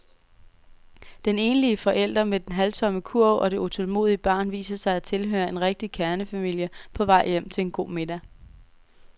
Den enlige forælder med den halvtomme kurv og det utålmodige barn viser sig at tilhøre en rigtig kernefamilie på vej hjem til en god middag.